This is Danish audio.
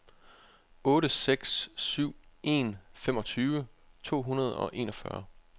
otte seks syv en femogtyve to hundrede og enogfyrre